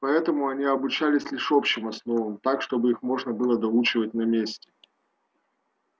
поэтому они обучались лишь общим основам так чтобы их можно было доучивать на месте